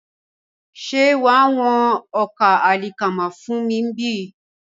Ṣé wàá wọn ọkà àlìkámà fún mi bí?